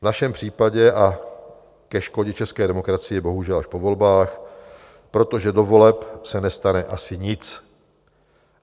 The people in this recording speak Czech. V našem případě a ke škodě české demokracie bohužel až po volbách, protože do voleb se nestane asi nic.